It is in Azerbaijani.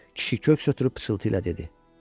Kişi köks ötürüb pıçıltı ilə dedi: